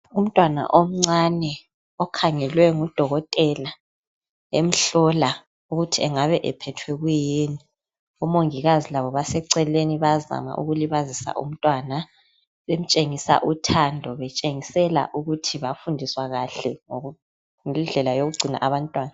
Umntwana omncane okhangelwe ngudokotela emhlola ukuthi engabe ephethwe kuyini. Omongikazi labo baseceleni bayazama ukulibazisa umntwana bemtshengisa uthando betshengisela ukuthi bafundiswa kahle ngendlela yokugcina abantwana